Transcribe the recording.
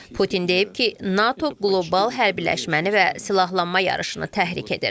Putin deyib ki, NATO qlobal hərbiləşməni və silahlanma yarışını təhrik edir.